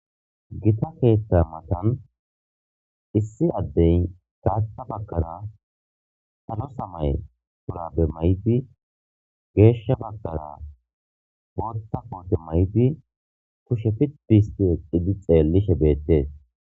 Gitta ketha mattani issi adeyi gatha baggara salo samayi shamize mayidi gesha baggara botha kote mayidi xelishe bettesi